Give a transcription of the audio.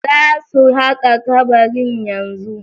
Za su haƙa kabarin yanzu